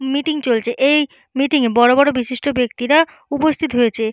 Meeting চলছে। এই meeting -এ বড় বড় বিশিষ্ট ব্যক্তিরা উপস্থিত হয়েছে।